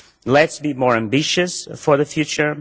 Let us be more ambitious for the future.